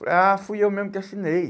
Falei, ah, fui eu mesmo que assinei.